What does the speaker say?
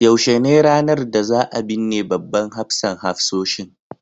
yaushe ne ranar da za a binne babban hafsan hafsoshin